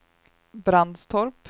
Brandstorp